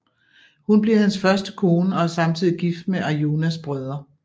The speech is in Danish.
Hun bliver hans første kone og er samtidig gift med Arjunas brødre